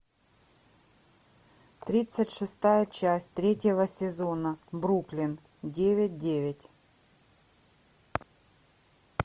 тридцать шестая часть третьего сезона бруклин девять девять